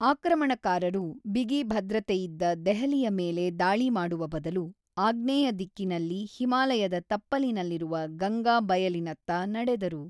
ಆಕ್ರಮಣಕಾರರು ಬಿಗಿ ಭದ್ರತೆಯಿದ್ದ ದೆಹಲಿಯ ಮೇಲೆ ದಾಳಿ ಮಾಡುವ ಬದಲು ಆಗ್ನೇಯ ದಿಕ್ಕಿನಲ್ಲಿ ಹಿಮಾಲಯದ ತಪ್ಪಲಿನಲ್ಲಿರುವ ಗಂಗಾ ಬಯಲಿನತ್ತ ನಡೆದರು.